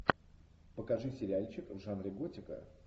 покажи сериальчик в жанре готика